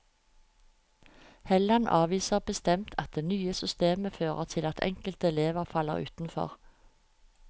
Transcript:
Helland avviser bestemt at det nye systemet fører til at enkelte elever faller utenfor.